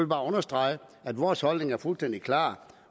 bare understrege at vores holdning er fuldstændig klar